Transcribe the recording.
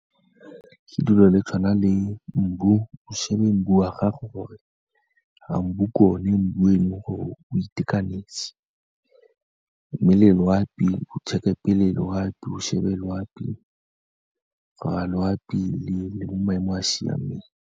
Ke dilo le tshwana le mbu, o shebe wa gago gore a mbu ke one, mbu e leng gore o itekanetse. Mme le loapi, o check-e pele loapi, o shebe loapi gore a loapi le mo maemong a siameng.